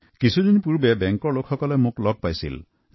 কিছুদিন আগতে বেংকৰ একাংশ কৰ্মকৰ্তাই মোৰ সৈতে মিলিত হৈছিল